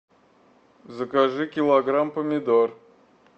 закажи килограмм помидор